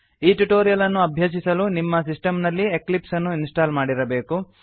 ಈ ಟ್ಯುಟೋರಿಯಲ್ ಅನ್ನು ಅಭ್ಯಸಿಸಲು ನಿಮ್ಮ ಸಿಸ್ಟಮ್ ನಲ್ಲಿ ಎಕ್ಲಿಪ್ಸ್ ಅನ್ನು ಇನ್ಸ್ಟಾಲ್ ಮಾಡಿರಬೇಕು